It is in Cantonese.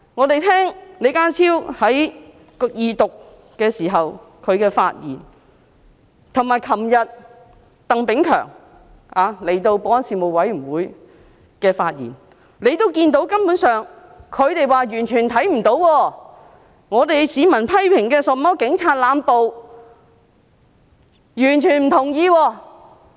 根據李家超在二讀時的發言，以及昨天鄧炳強出席保安事務委員會會議時的發言，他們說完全看不到曾出現市民所批評的警暴，他們完全不同意。